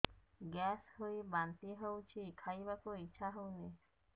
gas ହୋଇ ବାନ୍ତି ହଉଛି ଖାଇବାକୁ ଇଚ୍ଛା ହଉନି